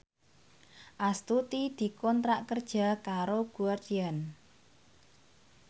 Astuti dikontrak kerja karo Guardian